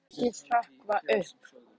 segi ég og þykist hrökkva upp.